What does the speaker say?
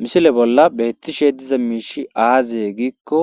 misile bolla beettishe diza miishi aazye giikko